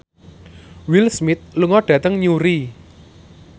Will Smith lunga dhateng Newry